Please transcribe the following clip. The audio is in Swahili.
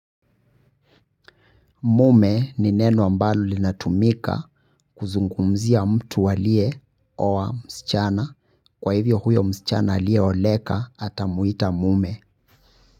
Mume ni neno ambalo linatumika kuzungumzia mtu aliyeoa msichana kwa hivyo huyo msichana aliyeoleka atamuita mume.